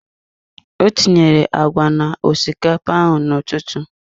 Ọ tinyere agwa na osikapa ahụ n'ụtụtụ.